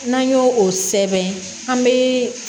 N'an y'o o sɛbɛn an be